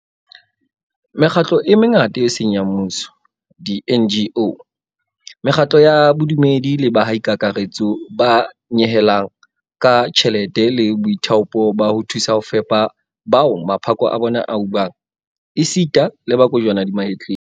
Mekgatlo e mengata eo e seng ya mmuso di-NGO, mekgatlo ya bodumedi le baahi ka kakaretso ba nyehelang ka tjhelete le boithaopo ba ho thusa ho fepa bao maphako a bona a ubang esita le ba kojwana di mahetleng.